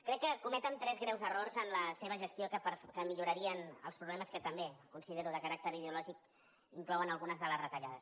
crec que cometen tres greus errors en la seva gestió que millorarien els problemes que també considero de caràcter ideològic inclouen algunes de les retallades